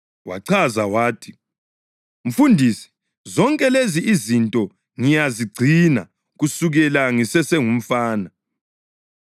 Wachaza wathi, “Mfundisi zonke lezi izinto ngiyazigcina kusukela ngisesengumfana.”